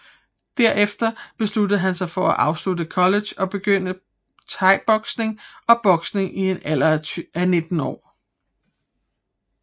Derefter besluttede han sig for at afslutte college og begyndte Thaiboksning og Boksning i en alder af 19 år